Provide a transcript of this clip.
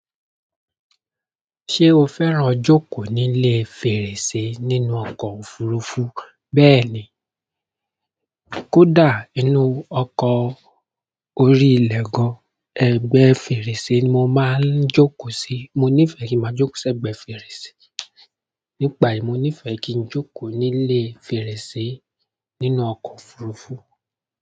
Ṣé o fẹ́ràn jókòó nílé fèrèsé nínú ọkọ̀ òfurufú? Bẹ́ẹ̀ni, kódà nínú ọkọ̀ orí-ilẹ̀ gan-an, ẹgbẹ́ fèrèsé ni mo máa ń jókòó sí. Mo nífẹ̀ẹ́ kí mo jókòó sí ẹgbẹ́ fèrèsé. Nígbà yìí, mo nífẹ̀ẹ́ kí n jókòó nílé fèrèsé nínú ọkọ̀ òfurufú.